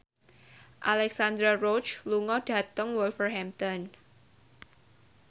Alexandra Roach lunga dhateng Wolverhampton